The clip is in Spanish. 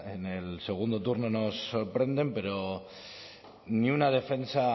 en el segundo turno nos sorprenden pero ni una defensa